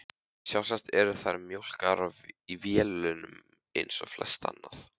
Sjálfsagt eru þær mjólkaðar í vélum eins og flest annað.